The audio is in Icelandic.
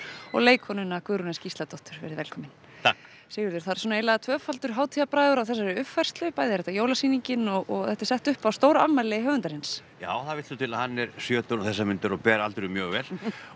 og leikkonuna Guðrúnu Gísladóttur veriði velkomin takk Sigurður það eru svona eiginlega tvöfaldur hátíðarbragur á þessari uppfærslu bæði er þetta jólasýningin og þetta er sett upp á afmæli höfundarins já það vill til að hann er sjötugur um þessar mundir og ber aldurinn mjög vel